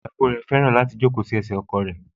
Ìyàwó náà fẹ́ràn kí ó máa jókòó sí ẹsẹ̀ ọkọ̀ ẹ̀